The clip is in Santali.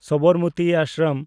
ᱥᱚᱵᱚᱨᱢᱛᱤ ᱟᱥᱨᱚᱢ